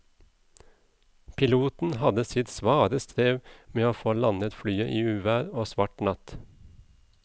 Piloten hadde sitt svare strev med å få landet flyet i uvær og svart natt.